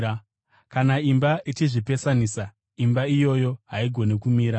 Kana imba ichizvipesanisa, imba iyoyo haigoni kumira.